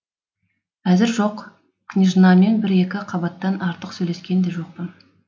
әзір жоқ княжнамен бір екі қабаттан артық сөйлескен де жоқпын